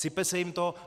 Sype se jim to.